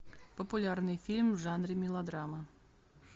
популярный фильм в жанре мелодрама